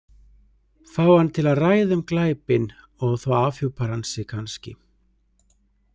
Fá hann til að ræða um glæpinn og þá afhjúpar hann sig kannski.